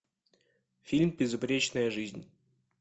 фильм безупречная жизнь